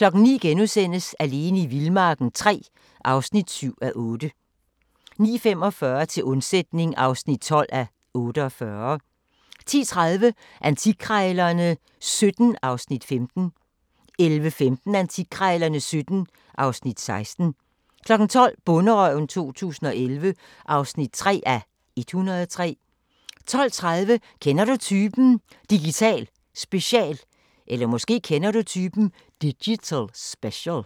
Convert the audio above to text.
09:00: Alene i vildmarken III (7:8)* 09:45: Til undsætning (12:48) 10:30: Antikkrejlerne XVII (Afs. 15) 11:15: Antikkrejlerne XVII (Afs. 16) 12:00: Bonderøven 2011 (3:103) 12:30: Kender du typen? – Digital special